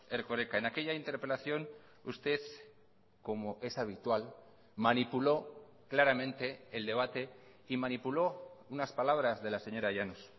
erkoreka en aquella interpelación usted como es habitual manipuló claramente el debate y manipuló unas palabras de la señora llanos